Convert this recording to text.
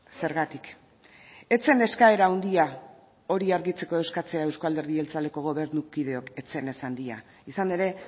zergatik ez zen eskaera handia hori argitzeko eskatzea euzko alderdi jeltzaleko gobernukideok ez zen ez handia izan ere